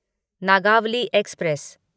Nagavali express